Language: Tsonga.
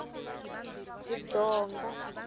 ridonga